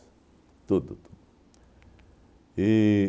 Tudo, tudo. E